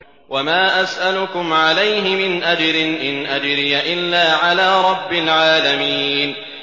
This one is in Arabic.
وَمَا أَسْأَلُكُمْ عَلَيْهِ مِنْ أَجْرٍ ۖ إِنْ أَجْرِيَ إِلَّا عَلَىٰ رَبِّ الْعَالَمِينَ